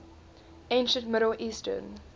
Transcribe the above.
ancient middle eastern